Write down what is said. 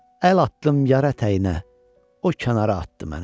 Əl atdım yar ətəyinə, o kənara atdı məni.